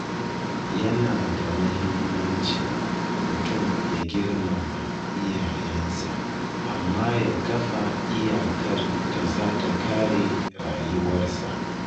Yana da mahimmanci mutum ya girmama iyayensa amma ya kafa iyakar da za ta kare rayuwarsa.